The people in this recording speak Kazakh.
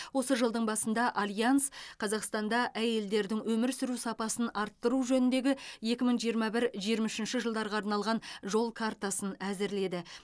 осы жылдың басында альянс қазақстанда әйелдердің өмір сүру сапасын арттыру жөніндегі екі мың жиырма бір жиырма үшінші жылдарға арналған жол картасын әзірледі